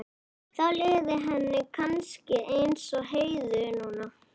Þá liði henni kannski eins og Heiðu núna.